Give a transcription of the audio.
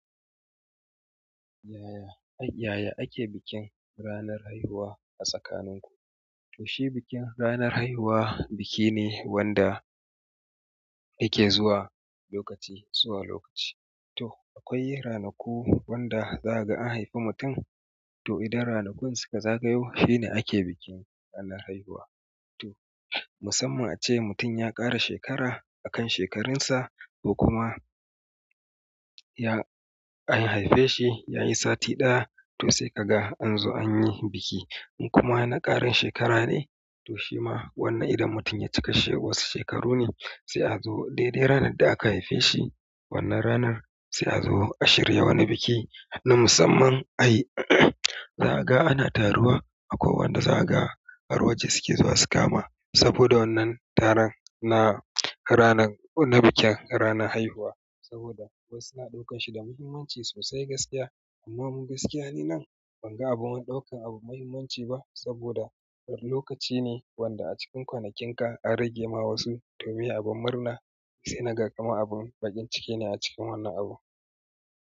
Yaya, yaya ake bikin ranar haihuwa a tsakaninku? To shi bikin ranar haihuwa biki ne wanda yake zuwa lokaci zuwa lokaci. To akwai ranaku wanda zaka ga an haifi mutum, to idan ranakun suka zagayo shine ake bikin ranar haihuwa. Musamman a ce mutum ya ƙara shekara akan shekarun sa, ko kuma ya an haife shi yayi sati ɗaya to sai kaga an zo anyi biki. In kuma na ƙarin shekara ne to shima wannan idan mutum ya cika wasu shekaru ne sai a zo daidai ranar da aka haife shi wannan ranar sai a zo a shirya wani biki na musamman. Ai zaka ga ana taruwa akwai wanda zaka ga har waje suke zuwa su kama saboda wannan taron na ranar na bikin ranar haihuwa saboda wasu na ɗaukanshi da muhimmanci sosai gaskiya amma mu gaskiya ni nan banga abun wani ɗaukan abu muhimmanci ba saboda lokaci ne wanda a cikin kwanakin ka an rage ma wasu to meye abun murna? Sai naga kamar abun baƙin ciki ne a cikin wannan abu.